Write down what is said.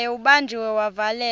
naye ubanjiwe wavalelwa